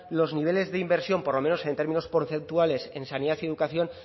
los niveles de inversión por lo menos en términos porcentuales en sanidad y educación